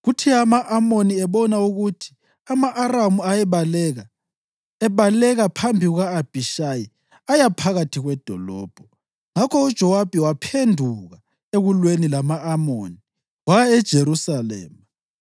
Kuthe ama-Amoni ebona ukuthi ama-Aramu ayebaleka, ebaleka phambi kuka-Abhishayi aya phakathi kwedolobho. Ngakho uJowabi waphenduka ekulweni lama-Amoni waya eJerusalema.